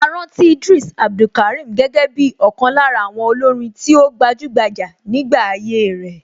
A rántí Idris Abdulkarim gẹ́gẹ́ bí ọ̀kan lára àwọn olórin tí ó gbajúgbajà nígbà ayé ẹ̀.